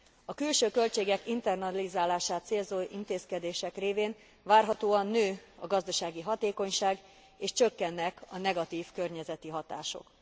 A külső költségek internalizálását célzó intézkedések révén várhatóan nő a gazdasági hatékonyság és csökkennek a negatív környezeti hatások.